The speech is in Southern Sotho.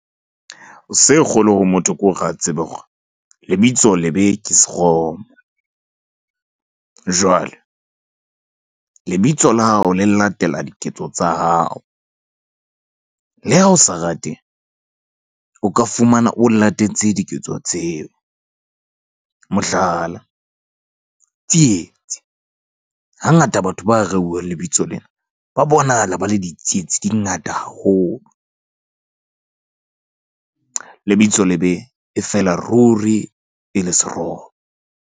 Se kgolo ho motho hore a tsebe hore lebitso lebe ke seromo. Jwale lebitso la hao le latela diketso tsa hao. Le ha o sa rate o ka fumana o latetse diketso tseo, mohlala, Tsietsi, hangata batho ba rewang lebitso lena ba bonahala ba le ditsietsi di ngata haholo . Lebitso lebe e fela ruri e le seromo.